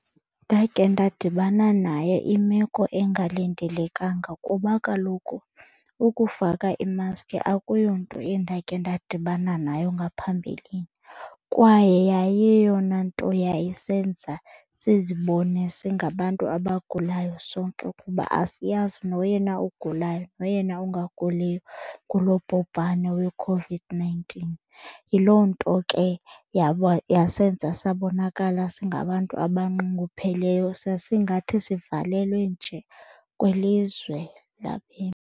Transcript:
Ndake ndadibana naye imeko engalindelekanga kuba kaloku ukufaka imaskhi akuyonto endake ndadibana nayo ngaphambilini. Kwaye yayiyeyona nto yayisenza sizibone singabantu abagulayo sonke kuba asiyazi noyena ugulayo noyena ungaguliyo ngulo bhubhane weCOVID-nineteen. Yiloo nto ke yasenza sabonakala singabantu abanxungupheleyo, sasingathi sivalelwe nje kwilizwe .